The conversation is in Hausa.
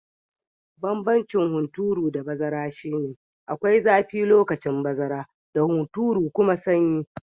Banbancin hunturu da bazara shi ne, akwai zafi lokacin bazara da hunturu kuma sanyi.